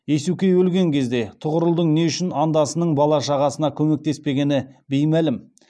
иесукей өлген кезде тұғырылдың не үшін андасының бала шағасына көмектеспегені беймәлім